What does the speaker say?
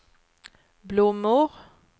blommor